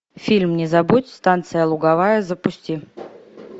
фильм не забудь станция луговая запусти